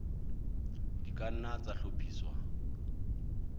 di ka nna tsa hlophiswa